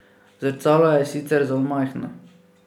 Zrcalo je sicer zelo majhno.